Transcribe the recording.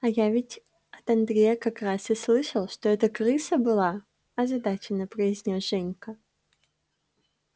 а я ведь от андрея как раз и слышал что это крыса была озадаченно произнёс женька